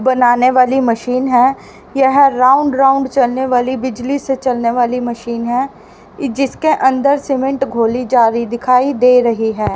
बनाने वाली मशीन हैं यह राउंड राउंड चलने वाली बिजली से चलने वाली मशीन हैं जिसके अंदर सीमेंट घोली जा रही दिखाई दे रही हैं।